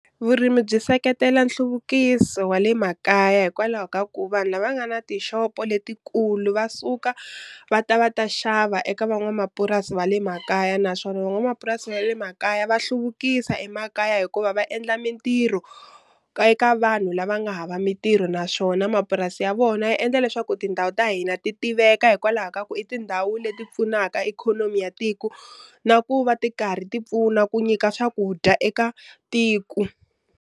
Vurimi byi seketela nhluvukiso wa le makaya hikwalaho ka ku vanhu lava nga na tixopo letikulu va suka va ta va ta xava eka van'wamapurasi va le makaya, naswona van'wamapurasi va le makaya va hluvukisa emakaya hikuva va endla mintirho ka vanhu lava nga hava mintirho naswona mapurasi ya vona ya endla leswaku tindhawu ta hina ti tiveka hikwalaho ka ku i tindhawu leti pfunaka ikhonomi ya tiku na ku va ti karhi ti pfuna ku nyika swakudya eka tiku.